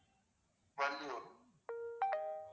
Valliyur